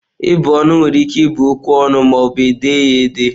Ịbụ ọnụ were ike ịbụ okwu ọnụ ma ọbụ e dee ya ede.